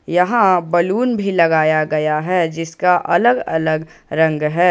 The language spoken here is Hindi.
यहां बैलून भी लगाया गया है जिसका अलग अलग रंग है।